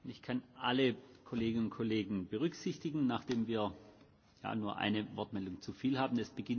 Ich kann alle Kolleginnen und Kollegen berücksichtigen, nachdem wir ja nur eine Wortmeldung zu viel haben.